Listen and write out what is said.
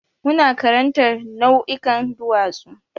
Muna karantar nau'ikan duwatsu.